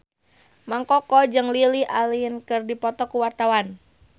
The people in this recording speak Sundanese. Mang Koko jeung Lily Allen keur dipoto ku wartawan